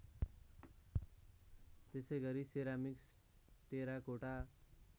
त्यसैगरी ceramics terracotta